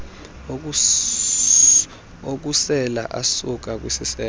okusela asuka kwisiseko